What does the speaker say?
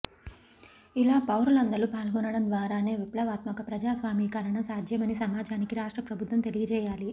ఇలా పౌరులందరు పాల్గొనడం ద్వారానే విప్లవాత్మక ప్రజాస్వామీకరణ సాధ్యమని సమాజానికి రాష్ట్ర ప్రభుత్వం తెలియజేయాలి